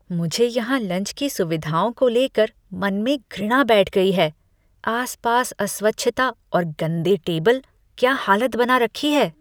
मुझे यहाँ लंच की सुविधाओं को लेकर मन में घृणा बैठ गई है, आसपास अस्वच्छता और गंदे टेबल, क्या हालत बना रखी है!